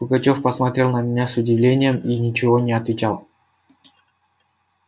пугачёв посмотрел на меня с удивлением и ничего не отвечал